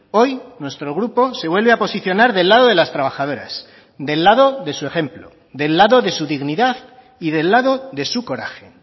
hoy nuestro grupo se vuelve a posicionar del lado de las trabajadoras del lado de su ejemplo del lado de su dignidad y del lado de su coraje